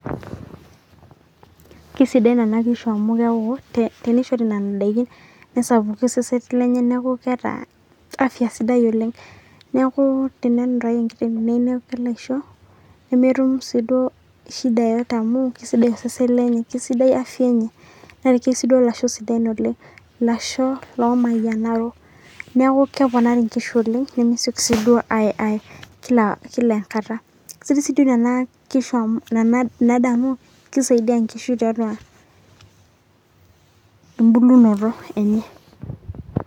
kisidan nena kishu, amu tenishori nena daikin, nesapuku osesen lenye, neeku keeta afya sidai oleng. neeku tenenutayu enkiteng' neyieu neisho, nemetum shida yeyote amu kisidai osesen lenye, sidai afya enye, neiki siduo ilasho sidain oleng, ilasho, oomayianaro, neponari nkishu oleng, nemesioki siduo aaye kila enkata. keisidai siduo kuna kishu amu ina daa amu kisaidia nkishu tiatua, ebulunoto enye.